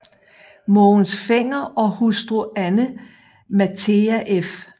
Mogens Fenger og hustru Anne Mathea f